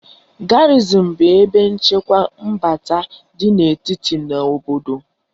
Garịzịn bụ ebe nchekwa mbata dị n'etiti na obodo